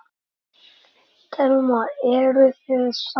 Telma: Eruð þið sátt?